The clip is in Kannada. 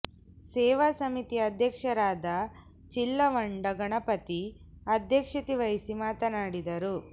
ಸೇವಾ ಸಮಿತಿಯ ಅಧ್ಯಕ್ಷರಾದ ಚಿಲ್ಲ ವಂಡ ಗಣಪತಿ ಅಧ್ಯಕ್ಷತೆ ವಹಿಸಿ ಮಾತನಾ ಡಿದರು